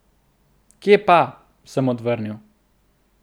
Kje pa, sem odvrnil.